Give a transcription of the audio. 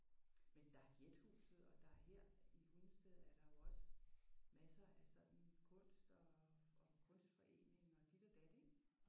Men det er Gjethuset og der er her i Hundested er der jo også masser af sådan kunst og og kunstforeninger og dit og dat ik?